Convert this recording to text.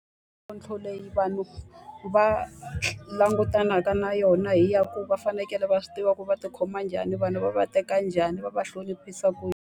Mintlhontlho leyi vanhu va langutanaka na yona i ya ku va fanekele va swi tiva ku va tikhoma njhani, vanhu va va teka njhani, va va hloniphisa ku yini.